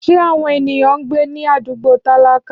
Ṣé àwọn ènìyàn ń gbé ní àdúgbò tálákà?